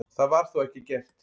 Það var þó ekki gert.